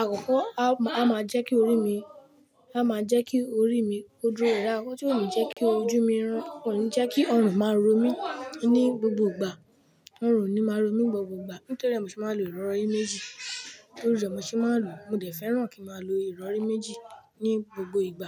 Àkọ́kọ́, a má-- a má jẹ́ kí orí mi-- a má jẹ́ kí orí mi ó dúró rẹwà. Ọ̀kan sì ò ní jẹ́ kí ojú mi rán-- ò ní jẹ́ kí ọrùn máa ro mí ní gbogbo ìgbà. Ọrùn ò ní máa ro mí ní gbogbo ìgbà. Nítorí rẹ̀ mo ṣe máa ń lo ìrọrí méjì. Nítorí rẹ̀ mo ṣe máa ń lò. Mo dẹ̀ fẹ́ràn kí màá lo ìrọrí méjì ní gbogbo ìgbà.